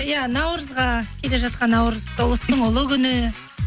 иә наурызға келе жатқан наурыз ұлыстың ұлы күні